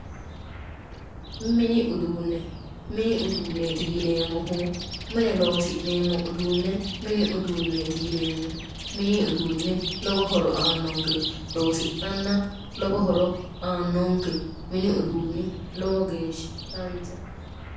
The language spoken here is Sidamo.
Mini uduunne, mini uduunneeti yineemmohu, mine loosi'neemmo uduunne mini uduunneeti yineemmo. mini uduunni lowo horo aannonke loosi'nanna lowo horo aannonke mini uduunni lowo geeshsha danchaho.